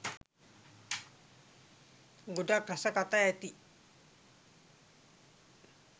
ගොඩක් රස කතා ඇති